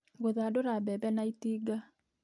Gũthandũra mbembe na itinga